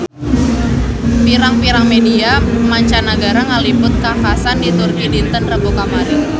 Pirang-pirang media mancanagara ngaliput kakhasan di Turki dinten Rebo kamari